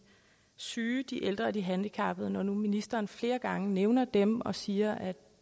syge de ældre og de handicappede når nu ministeren flere gange nævner dem og siger at